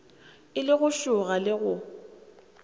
e le go šoga le